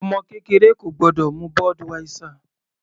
Ọmọ kékeré kò gbọ́dọ̀ mu Budweiser.